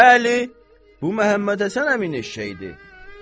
Bəli, bu Məhəmmədhəsən əminin eşşəyidir.